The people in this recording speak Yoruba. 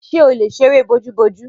Ṣè ó lè sẹ̀rẹ̀ bọ̀jù bọ̀jù?